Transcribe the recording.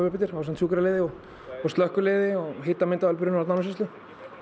upp eftir ásamt sjúkraliði og slökkviliði og hitamyndavélar brunavarna Árnessýslu